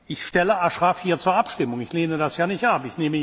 Ich stelle Ashraf hier zur Abstimmung, ich lehne das ja nicht ab.